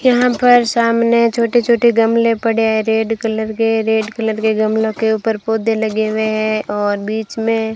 यहां पर सामने छोटे छोटे गमले पड़े हैं रेड कलर के रेड कलर के गमलों के ऊपर पौधे लगे हुए हैं और बीच में --